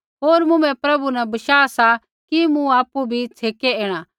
होर मुँभै प्रभु न बशाह सा कि मूँ आपु भी छ़ेकै ऐणा